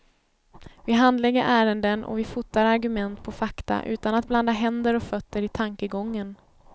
Vi handlägger ärenden och vi fotar argument på fakta utan att blanda händer och fötter i tankegången.